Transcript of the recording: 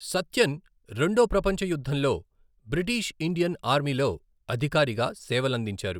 సత్యన్ రెండో ప్రపంచ యుద్ధంలో బ్రిటీష్ ఇండియన్ ఆర్మీలో అధికారిగా సేవలందించారు.